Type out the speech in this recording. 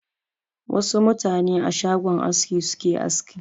Wasu mutane a shagon aski suke aski.